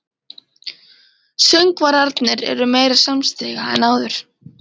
Söngvararnir eru meira samstiga en áður.